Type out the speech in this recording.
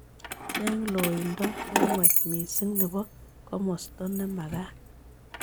Cheng' loindo ne nwach misiing' ne po komosta ne magat